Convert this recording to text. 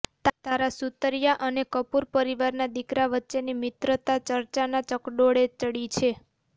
તારા સુતરિયા અને કપૂરપરિવારના દીકરા વચ્ચેની મિત્રતા ચર્ચાના ચકડોળે ચડી છે